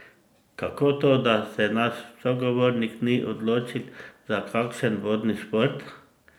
Kako to, da se naš sogovornik ni odločil za kakšen vodni šport?